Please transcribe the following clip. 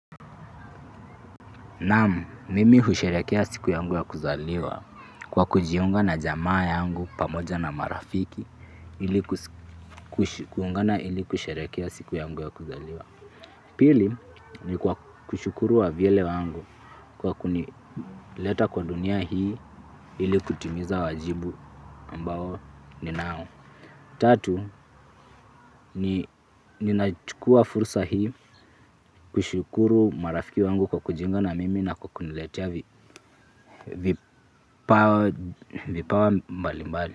Naam mimi husherehekea siku yangu ya kuzaliwa kwa kujiunga na jamaa yangu pamoja na marafiki ili kusherehekea siku yangu ya kuzaliwa. Pili ni kwa kushukuru wavyele wangu kwa kunileta kwa dunia hii ili kutimiza wajibu ambao ninao. Tatu, ninachukua fursa hii kushukuru marafiki wangu kwa kujiunga na mimi na kwa kuniletea vipawa mbali mbali.